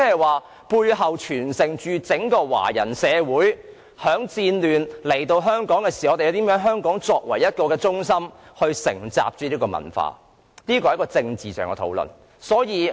換言之，背後所盛載的，是因戰亂來到香港的華人如何將香港成為承襲他們文化的中心的歷史。